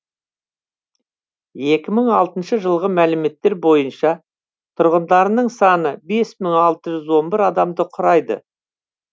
екі мың алтыншы жылғы мәліметтер бойынша тұрғындарының саны бес мың алты жүз он бір адамды құрайды